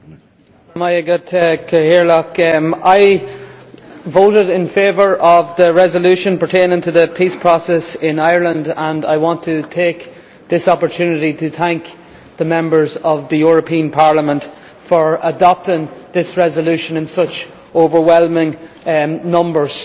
Mr President, I voted in favour of the resolution pertaining to the peace process in Ireland and I want to take this opportunity to thank the Members of the European Parliament for adopting this resolution in such overwhelming numbers.